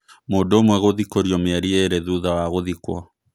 Mũndũ ũmwe gũthikũrio mĩeri ĩrĩ thutha wa gũthikwo.